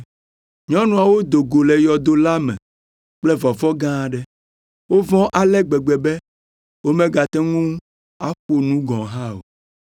Nyɔnuawo si do go le yɔdo la me kple vɔvɔ̃ gã aɖe. Wovɔ̃ ale gbegbe be womagate ŋu aƒo nu gɔ̃ hã o.